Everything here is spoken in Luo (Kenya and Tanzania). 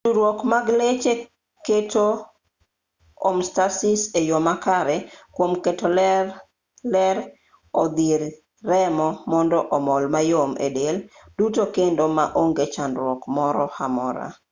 tudruok mag leche keto homeostasis e yo makare kwom keto ler odhir remo mondo omol mayom e del duto kendo maonge chandruok moro amora